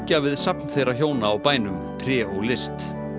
við safn þeirra hjóna á bænum tré og list